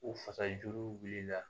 O fasa juruw wulila